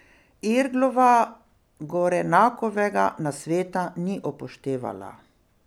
Irglova Gorenakovega nasveta ni upoštevala.